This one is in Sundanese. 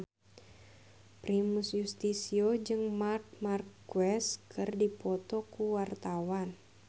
Primus Yustisio jeung Marc Marquez keur dipoto ku wartawan